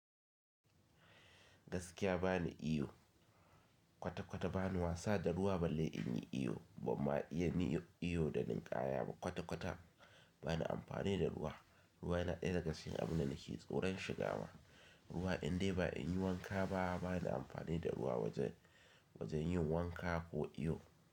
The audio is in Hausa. Gaskiya bani iyo, kwata-kwata bani wasa da ruwa balle in yi iyo ba ma iya niyo iyo da ninƙaya ba kwata-kwata bani amfani da ruwa. Ruwa yana ɗaya daga cikin abun da nake tsoron shiga wa. Ruwa indai ba in yi wanka ba bana amfani da ruwa wajen, wajen yin wanka ko iyo.